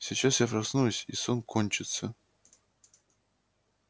сейчас я проснусь и сон кончится